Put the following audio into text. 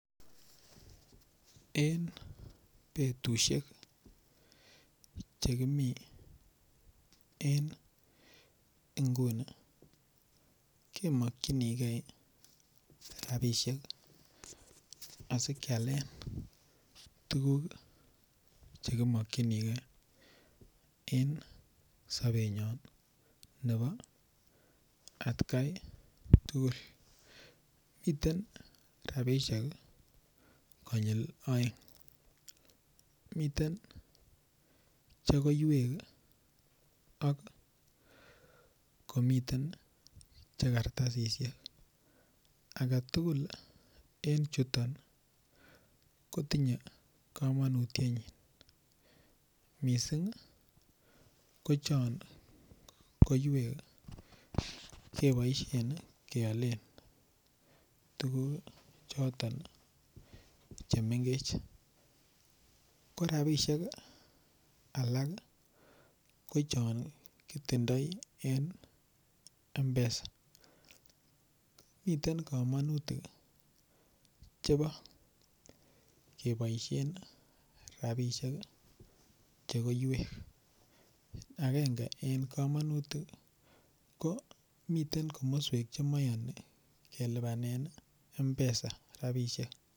En petusiek chekimi en nguni kimakchinigei rapishek asikyalen tuguk chekimakchinigei en sopet nyon nepo atkaitugul miten rapishek konyil oeng' miten chekoywek ak komiten che kartasishek agetugul en chuton kotinyei komanutienyi mising' ko chon koiywek kepoishen kealen tuguk choton chemengech ko rapishek alak ko chon kitindoi en Mpesa miten komanutik chepo kepoishen rapishek chekoywek agenge en komanutik miten komoswek chemaini kelipanen Mpesa rapishek.